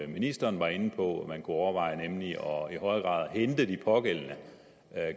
ministeren var inde på at man kunne overveje nemlig i højere grad kunne hente de pågældende